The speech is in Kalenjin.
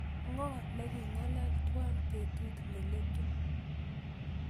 Ngoo nikigingalal twan betut neletu